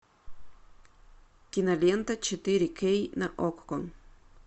кинолента четыре кей на окко